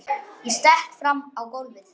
Ég stekk fram á gólfið.